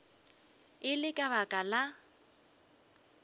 e le ka baka la